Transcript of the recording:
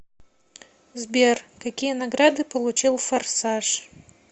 сбер какие награды получил форсаж